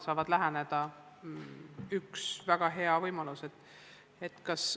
See on väga hea võimalus.